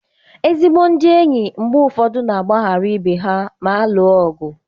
Ezigbo ndị enyi mgbe ụfọdụ na-agbaghara ibe ha ma alụọ ọgụ.